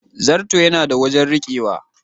Zarto yana da wajen rikewa.